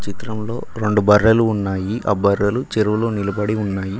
చిత్రంలో రెండు బర్రెలు ఉన్నాయి ఆ బర్రెలు చెరువులో నిలబడి ఉన్నాయి.